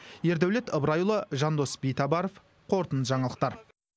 ердәулет ыбырайұлы жандос битабаров қорытынды жаңалықтар